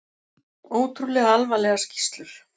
Ótrúlega alvarlegar skýrslur